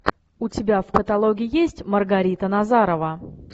у тебя в каталоге есть маргарита назарова